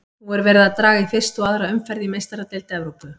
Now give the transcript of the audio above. Nú er verið að draga í fyrstu og aðra umferð í Meistaradeild Evrópu.